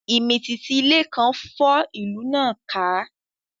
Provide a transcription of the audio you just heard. Ìmìtìtì ilẹ̀ kan fọ́ ìlú náà ká